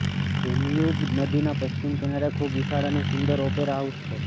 Danube નદીના પશ્ચિમ કિનારે ખૂબ વિશાળ અને સુંદર ઓપેરા હાઉસ છે